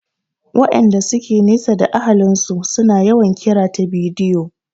Waƴanda suke zaune nesa da ahalin su su na yawan yin kira ta bidiyo